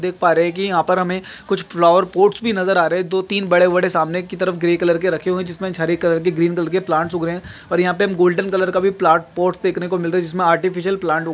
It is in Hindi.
देख पा रहे है की यहा पर हमे कुछ फ्लावर पॉर्ट्स भी नजर आ रहे है दो तीन बड़े-बड़े सामने की तरफ ग्रे कलर के रखे हुए है जिसमे गोल्डन कलर के ग्रीन कलर के प्लांट्स उग रहे है और यहाँ पे हमें गोल्डन कलर का भी फ्लावर पॉट देखने को मिल रहा है जिसमे आर्टिफीसियल प्लांट --